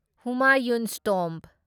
Humayun's Tom